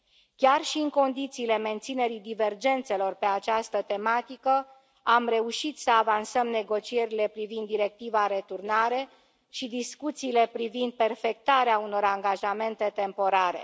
Chiar și în condițiile menținerii divergențelor pe această tematică, am reușit să avansăm negocierile privind Directiva returnare și discuțiile privind perfectarea unor angajamente temporare.